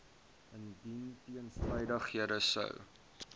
indien teenstrydighede sou